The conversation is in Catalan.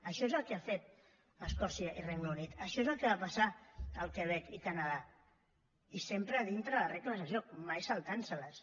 això és el que han fet escòcia i el regne unit això és el que va passar al quebec i el canadà i sempre dintre de les regles del joc mai saltant se les